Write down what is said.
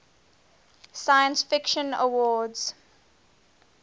science fiction awards